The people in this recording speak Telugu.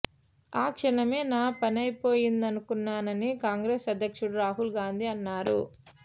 ఆ క్షణమే నా పనైపోయిందనుకున్నానని కాంగ్రెస్ అధ్యక్షుడు రాహుల్ గాంధీ అన్నారు